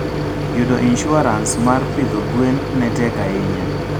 Yudo insuarans mar pidho gwen ne tek ahinya.